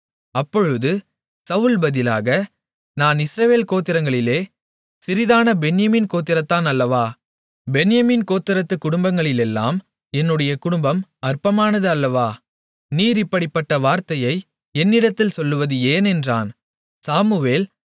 அப்பொழுது சவுல் பதிலாக நான் இஸ்ரவேல் கோத்திரங்களிலே சிறிதான பென்யமீன் கோத்திரத்தான் அல்லவா பென்யமீன் கோத்திரத்துக் குடும்பங்களிலெல்லாம் என்னுடைய குடும்பம் அற்பமானது அல்லவா நீர் இப்படிப்பட்ட வார்த்தையை என்னிடத்தில் சொல்வது ஏன் என்றான்